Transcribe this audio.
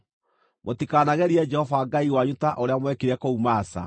Mũtikanagerie Jehova Ngai wanyu ta ũrĩa mwekire kũu Masa.